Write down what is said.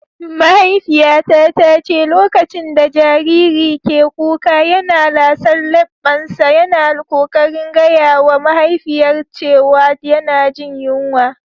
Mahaifiyata ta ce lokacin da jariri ke kuka yana lasar lebbansa, yana kokarin gaya wa mahaifiyar cewa yana jin yunwa.